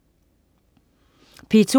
P2: